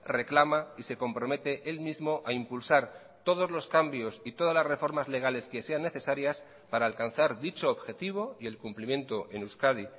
reclama y se compromete él mismo a impulsar todos los cambios y todas las reformas legales que sean necesarias para alcanzar dicho objetivo y el cumplimiento en euskadi